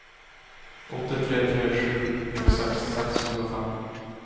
åtte tre tre sju tjueseks seks hundre og fem